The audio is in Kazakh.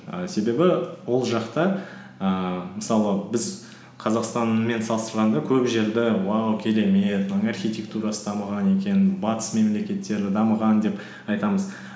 і себебі ол жақта ііі мысалы біз қазақстанмен салыстырғанда көп жерді уау керемет мынаның архитектурасы дамыған екен батыс мемлекеттері дамыған деп айтамыз